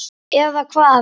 Eða hvað.?